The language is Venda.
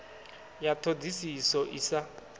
ya ṱho ḓisiso i sa